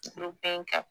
Don bɛɛ kan